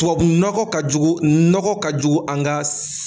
Tubabunɔgɔ ka jugu nɔgɔ ka jugu an ka